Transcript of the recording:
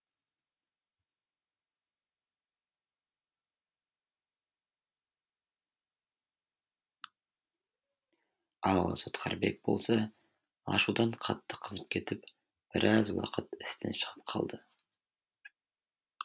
ал сотқарбек болса ашудан қатты қызып кетіп біраз уақыт істен шығып қалды